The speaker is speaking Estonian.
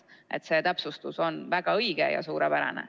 Nii et see täpsustus on väga õige ja suurepärane.